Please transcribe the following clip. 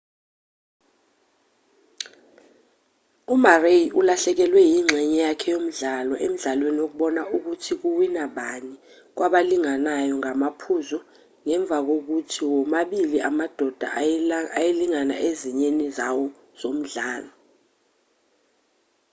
umurray ulahlekelwe ingxenye yakhe yomdlalo emdlalweni wokubona ukuthi kuwina bani kwabalinganayo ngamaphuzu ngemva kokuthi womabili amadoda ayelingana ezinyeni zawo zomdlalo